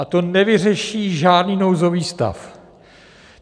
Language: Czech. A to nevyřeší žádný nouzový stav.